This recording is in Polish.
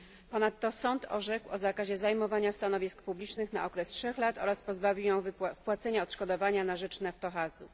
Ponadto sąd orzekł o zakazie zajmowania stanowisk publicznych na okres trzech lat oraz zobowiązał ją do wpłacenia odszkodowania na rzecz Naftohazu.